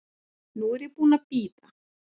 Nú er ég búin að bíða.